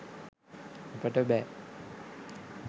අපට බෑ